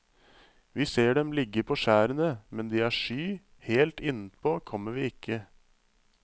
Vi ser dem ligge på skjærene, men de er sky, helt innpå kommer vi ikke.